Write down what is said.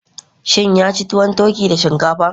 Shin ya ci tuwon turkey da shinkafa?